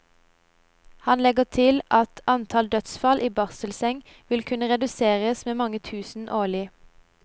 Han legger til at antall dødsfall i barselseng vil kunne reduseres med mange tusen årlig.